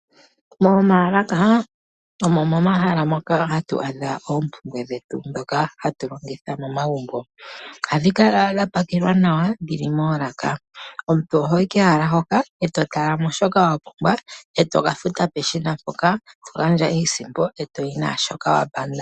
Momaalaka omo momahala moka hatu adha oompumbwe dhetu ndhoka hatu longitha momagumbo. Ohadhi kala dha pakelwa nawa, dhi li mo